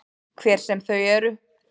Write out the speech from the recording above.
Hver sem þau eru.